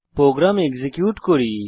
programme execute করি